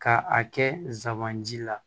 Ka a kɛ zamanji la